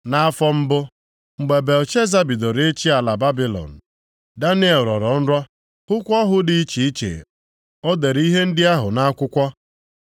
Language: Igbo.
Nʼafọ mbụ, mgbe Belshaza bidoro ịchị ala Babilọn, Daniel rọrọ nrọ, hụkwa ọhụ dị iche iche, o dere ihe ndị ahụ nʼakwụkwọ.